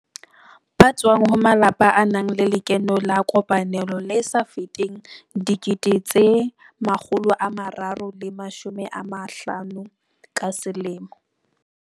Ba tswang ho malapa a nang le lekeno la kopanelo le sa feteng R350 000 ka selemo.